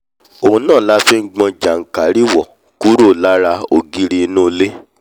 òun náà la fi ngbọn jànkáríwọ̀ kúro lára ògiri inú ilé